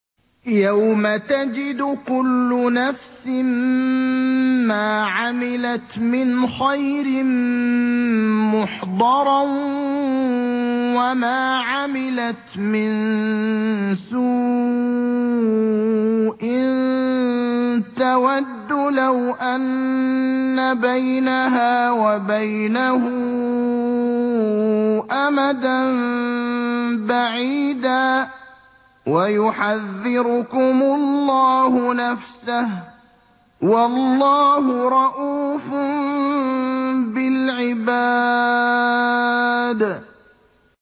يَوْمَ تَجِدُ كُلُّ نَفْسٍ مَّا عَمِلَتْ مِنْ خَيْرٍ مُّحْضَرًا وَمَا عَمِلَتْ مِن سُوءٍ تَوَدُّ لَوْ أَنَّ بَيْنَهَا وَبَيْنَهُ أَمَدًا بَعِيدًا ۗ وَيُحَذِّرُكُمُ اللَّهُ نَفْسَهُ ۗ وَاللَّهُ رَءُوفٌ بِالْعِبَادِ